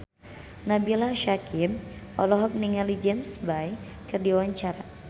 Nabila Syakieb olohok ningali James Bay keur diwawancara